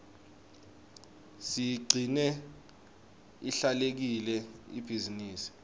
siyigcine ihlelekile ibhizinisi